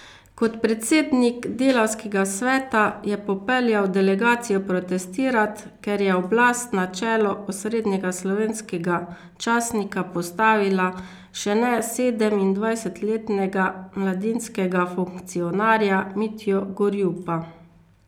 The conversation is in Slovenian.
Kot predsednik delavskega sveta je popeljal delegacijo protestirat, ker je oblast na čelo osrednjega slovenskega časnika postavila še ne sedemindvajsetletnega mladinskega funkcionarja Mitjo Gorjupa.